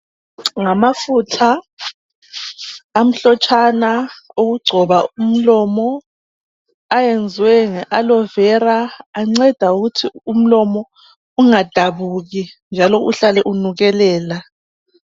Ngamafutha amhlotshana okugcoba umlomo ayenziwe ngeAlovera anceda ukuthi umlomo ungadabuki njalo uhlale unukelela.